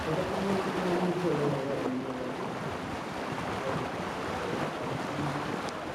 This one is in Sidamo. Fotote aana la'neemmohu murote danaati. Murote dani giddo mittu kalaqamu haqqeeti yaate.